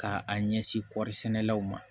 Ka a ɲɛsin kɔɔri sɛnɛlaw ma